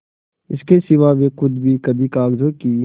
इसके सिवा वे खुद भी कभी कागजों की